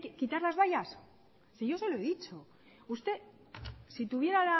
quitar las vallas si yo se lo he dicho usted si tuviera